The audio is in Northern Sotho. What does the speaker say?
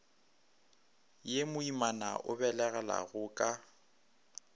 ye moimana a belegelaago ka